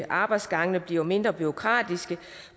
arbejdsgangene bliver mindre bureaukratiske